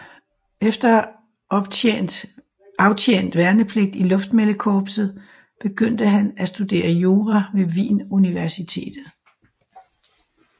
Efter at have aftjent værnepligt i luftmeldekorpset begyndte han at studere jura ved Wien Universitet